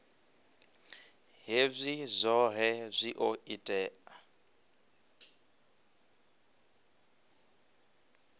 hezwi zwohe zwi o ita